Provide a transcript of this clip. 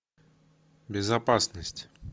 безопасность